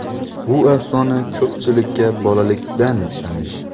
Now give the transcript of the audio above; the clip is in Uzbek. Bu afsona ko‘pchilikka bolalikdan tanish.